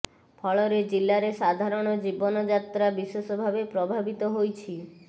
ଫଳରେ ଜିଲ୍ଲାରେ ସାଧାରଣ ଜୀବନଯାତ୍ରା ବିଶେଷ ଭାବେ ପ୍ରଭାବିତ ହୋଇଛି